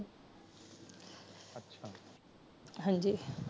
ਹਾਂਜੀ